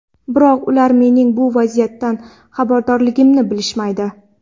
Biroq ular mening bu vaziyatdan xabardorligimni bilishmaydi.